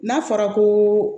N'a fɔra ko